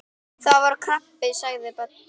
Það var krabbi sagði Böddi.